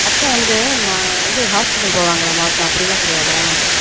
அப்பொ அத்த வந்து மா இது hospital போவாங்களா மாசம் அப்டி எல்லான் கெடயாத